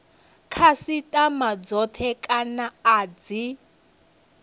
khasitama dzothe kana a dzi